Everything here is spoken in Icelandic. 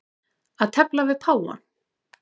Að tefla við páfann